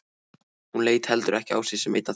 Hún leit heldur ekki á sig sem einn af þeim.